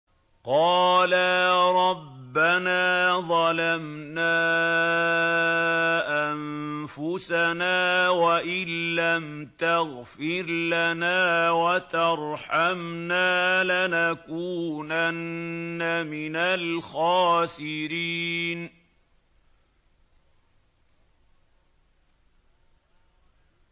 قَالَا رَبَّنَا ظَلَمْنَا أَنفُسَنَا وَإِن لَّمْ تَغْفِرْ لَنَا وَتَرْحَمْنَا لَنَكُونَنَّ مِنَ الْخَاسِرِينَ